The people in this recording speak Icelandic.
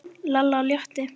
Fyrir Pétur og Pál.